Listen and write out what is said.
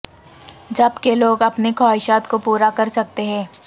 جبکہ لوگ اپنی خواہشات کو پورا کر سکتے ہیں